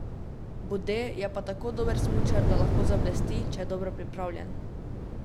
Bode je pa tako dober smučar, da lahko zablesti, če je dobro pripravljen.